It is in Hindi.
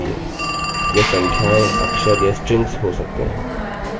यह संख्याएँअक्षर या स्ट्रिंग्स हो सकते हैं